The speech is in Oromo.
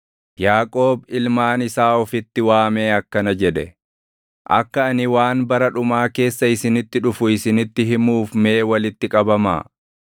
Yaaqoob ilmaan isaa ofitti waamee akkana jedhe: “Akka ani waan bara dhumaa keessa isinitti dhufu isinitti himuuf mee walitti qabamaa.